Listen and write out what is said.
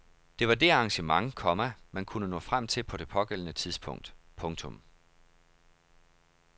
Det var det arrangement, komma man kunne nå frem til på det pågældende tidspunkt. punktum